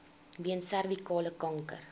weens servikale kanker